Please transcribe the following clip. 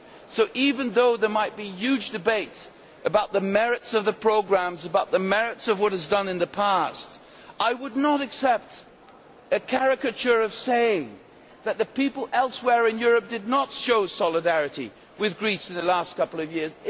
So even though there might be a huge debate about the merits of the programmes and the merits of what was done in the past, I would not accept a caricature narrative that the people elsewhere in Europe have not shown solidarity with Greece in the past couple of years.